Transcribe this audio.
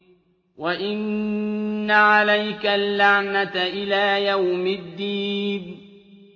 وَإِنَّ عَلَيْكَ اللَّعْنَةَ إِلَىٰ يَوْمِ الدِّينِ